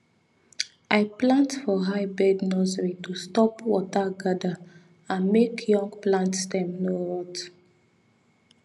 i plant for high bed nursery to stop water gather and make young plant stem no rot